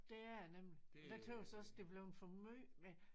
Det er det nemlig og det tøs også det er bleven for måj med